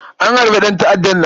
A harbe ɗanta'addan nan.